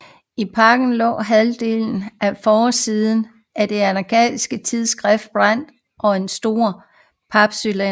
I pakken lå halvdelen af forsiden af det anarkistiske tidsskrift Brand og en sort papcylinder